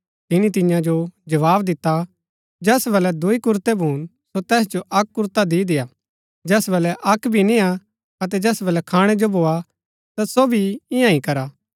तिनी तियां जो जवाव दिता जैस बलै दुई कुरतै भून सो तैस जो अक्क कुरता दी देआ जैस बलै अक्क भी नियां अतै जैस बलै खाणै जो भोआ ता सो भी ईयां ही करा